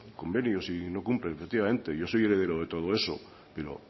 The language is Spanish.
convenios y no cumplen efectivamente yo soy heredero de todo eso pero